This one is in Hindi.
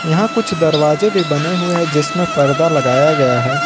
यहां कुछ दरवाजे भी बने हुए हैं जिसमें परदा लगाया गया है।